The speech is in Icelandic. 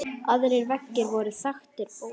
Aðrir veggir voru þaktir bókum.